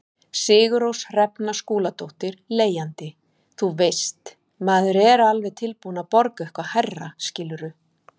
Sigurrós Hrefna Skúladóttir, leigjandi: Þú veist, maður er alveg tilbúin að borga eitthvað hærra skilurðu?